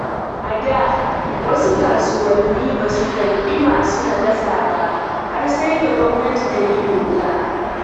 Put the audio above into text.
A da, wasu kasuwanni ba su karɓi masu nakasa ba har sai da gwamnati ta yi doka.